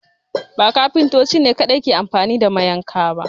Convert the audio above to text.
Ba Kafintoti ne kaɗai ke anfani da mayanka ba